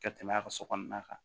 Ka tɛmɛ a ka so kɔnɔna kan